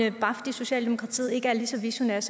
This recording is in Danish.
at bare fordi socialdemokratiet ikke er lige så visionært